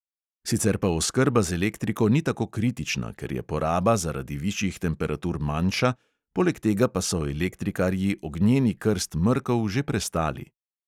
Sicer pa oskrba z elektriko ni tako kritična, ker je poraba zaradi višjih temperatur manjša, poleg tega pa so elektrikarji ognjeni krst mrkov že prestali.